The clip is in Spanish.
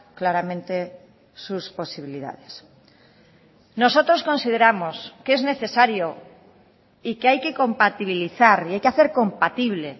claramente sus posibilidades nosotros consideramos que es necesario y que hay que compatibilizar y hay que hacer compatible